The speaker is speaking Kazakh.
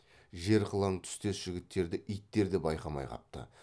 жер қылаң түстес жігіттерді иттер де байқамай қапты